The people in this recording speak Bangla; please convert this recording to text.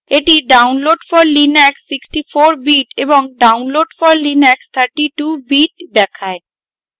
এটি download for linux 64 bit এবং download for linux 32 bit দেখায়